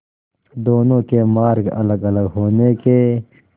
दोनों के मार्ग अलगअलग होने के